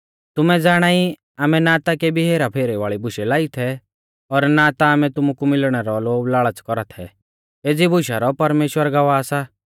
तुमै ज़ाणाई आमै ना ता केबी हेराफेरी वाल़ी बुशै लाई थै और ना ता आमै तुमु कु मिलणै रौ लोभलाल़च़ कौरा थै एज़ी बुशा रौ परमेश्‍वर गवाह सा